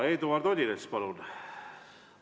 Eduard Odinets, palun!